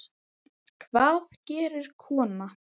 Hvað gerir kona?